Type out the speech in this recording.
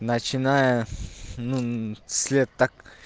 начиная с ну с лет так